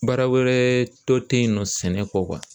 Baara wɛrɛ tɔ te yen nɔ sɛnɛ kɔ